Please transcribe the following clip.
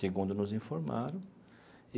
Segundo nos informaram.